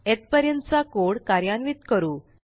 येथपर्यंतचा code कार्यान्वित करू